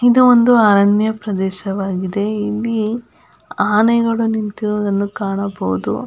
ಇದು ಒಂದು ಅರಣ್ಯ ಪ್ರದೇಶವಾಗಿದೆ ಇಲ್ಲಿ ಆನೆಗಳು ನಿಂತಿರುವುದು ಕಾಣಬಹುದು.